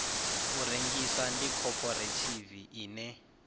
u rengisa ndi khophorethivi ine